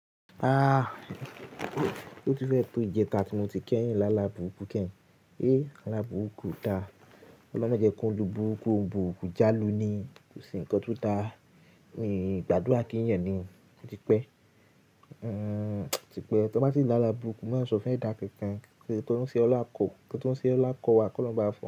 Ah! Ó ti fẹ́ pé ìjẹta tí mo ti kẹ́yìn lála búrukú kẹ́hìn. Eh! Álabúrukú o da. Ọlọ́un mọ jẹ kí óun burúkú, óun bùrùkù já lu ni kò se ǹkan tó dá. Ìgbàdúrà kí ń yàn ni. Ó ti pẹ́. Ti pẹ́, tí wọ́n bá ti lá la búrukú, má sọ fún ẹda kankan. Kí tọ́ún ṣe ọlá kọ, kí tọ́ún ṣe ọlá kọ́ wa, kí wọ́n máa fẹ́.